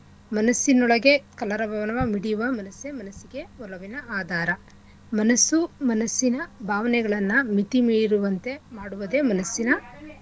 ಮನಸ್ಸಿನೊಳಗೆ ಕಲರವ ಬರುವ ಮಿಡಿಯುವ ಮನಸ್ಸೇ ಮನಸ್ಸಿಗೆ ಒಲವಿನ ಆಧಾರ ಮನಸ್ಸು ಮನಸ್ಸಿನ ಭಾವನೆಗಳನ್ನ ಮಿತಿಮೀರುವಂತೆ ಮಾಡುವುದೇ ಮನಸ್ಸಿನ.